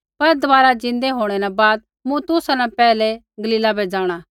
पर दबारा ज़िन्दै होंणै न बाद मूँ तुसा न पैहलै गलीला बै जाँणा